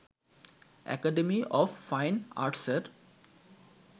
academy of fine আর্টসের